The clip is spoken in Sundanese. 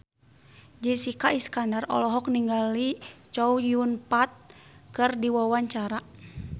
Jessica Iskandar olohok ningali Chow Yun Fat keur diwawancara